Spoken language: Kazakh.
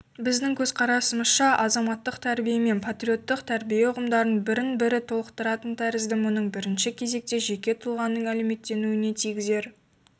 біздің көзқарасымызша азаматтық тәрбиемен патриоттық тәрбиеұғымдары бірін-бірі толықтыратын тәрізді мұның бірінші кезекте жеке тұлғаның әлеуметтенуіне тигізер